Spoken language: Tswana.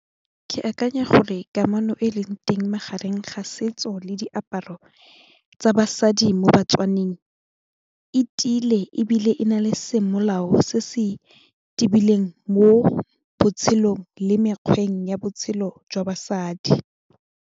Ke akanya gore kamano e leng teng magareng ga setso le diaparo tsa basadi mo batswaneng e tile ebile e na le semolao se se tibileng mo botshelong le mekgweng ya botshelo jwa basadi.